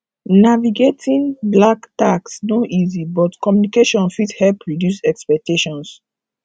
navigating black tax no easy but communication fit help reduce expectations